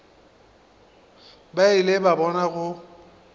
ba ile ba bona go